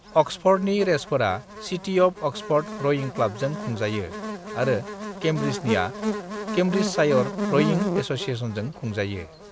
अक्सफर्डनि रेसफोरा city of Oxford रयिं क्लाबजों खुंजायो आरो केम्ब्रिजनिया केम्ब्रिजशायर रयिं एससिएशनजों खुंजायो।